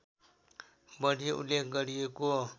बढी उल्लेख गरिएको